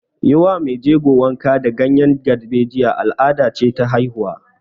Yi wa mai jego wanka da ganyen darbejiya al'ada ce ta haihuwa